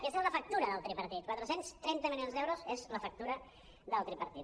aquesta és la factura del tripartit quatre cents i trenta milions d’euros és la factura del tripartit